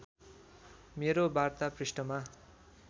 मेरो वार्ता पृष्ठमा